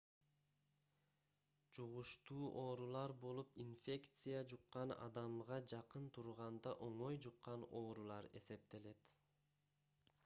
жугуштуу оорулар болуп инфекция жуккан адамга жакын турганда оңой жуккан оорулар эсептелет